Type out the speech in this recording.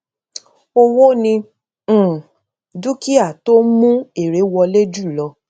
owó ni um dúkìá tó ń mú èrè wọlé jù lọ